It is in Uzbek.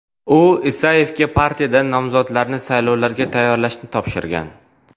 U Isayevga partiyadan nomzodlarni saylovlarga tayyorlashni topshirgan.